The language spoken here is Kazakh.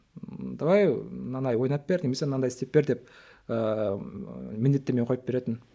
давай мынандай ойнап бер немесе мынандай істеп бер деп ыыы міндеттеме қойып беретін